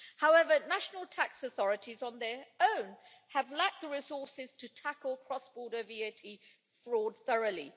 However, national tax authorities on their own have lacked the resources to tackle cross-border VAT fraud thoroughly.